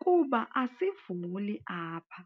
kuba asivuli apha.